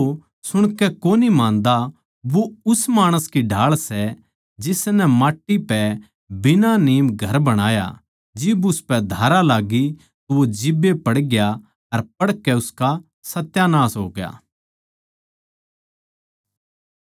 पर जो सुणकै कोनी मान्दा वो उस माणस की ढाळ सै जिसनै माट्टी पै बिना नीम घर बणाया जिब उसपै धारा लाग्गी तो वो जिब्बे पड़ग्या अर पड़कै उसका सत्यानास होग्या